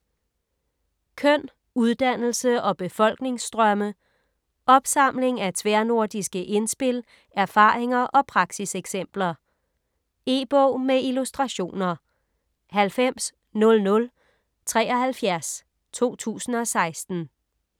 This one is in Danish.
Køn, uddannelse og befolkningsstrømme Opsamling af tværnordiske indspil, erfaringer og praksiseksempler. E-bog med illustrationer 900073 2016.